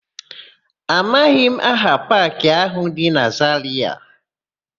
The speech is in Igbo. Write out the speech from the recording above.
Amaghị m aha paakị áhụ̀ dị na Zarịa.